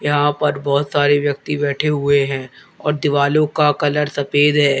यहां पर बहुत सारे व्यक्ति बैठे हुए हैं और दीवालो का कलर सफेद है।